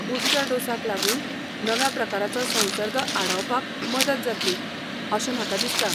Booster डोसाक लागून नव्या प्रकाराचो संसर्ग आडावपाक मदत जातली अशें म्हाका दिसता.